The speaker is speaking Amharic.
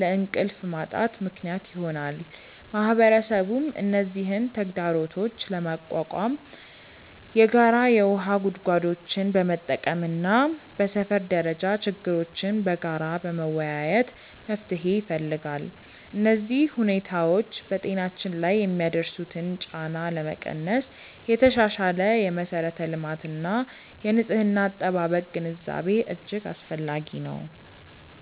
ለእንቅልፍ ማጣት ምክንያት ይሆናል። ማህበረሰቡም እነዚህን ተግዳሮቶች ለመቋቋም የጋራ የውሃ ጉድጓዶችን በመጠቀምና በሰፈር ደረጃ ችግሮችን በጋራ በመወያየት መፍትሄ ይፈልጋል። እነዚህ ሁኔታዎች በጤናችን ላይ የሚያደርሱትን ጫና ለመቀነስ የተሻሻለ የመሠረተ ልማትና የንጽህና አጠባበቅ ግንዛቤ እጅግ አስፈላጊ ነው።